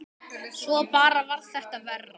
Svo bara varð þetta verra.